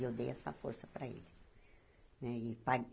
E eu dei essa força para ele né e